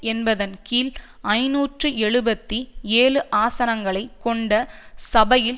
என்பதன் கீழ் ஐநூற்று எழுபத்தி ஏழு ஆசனங்களை கொண்ட சபையில்